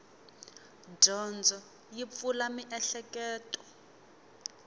dyondzo yi pfula mieheketo